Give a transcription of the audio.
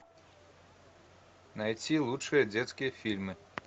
найти лучшие детские фильмы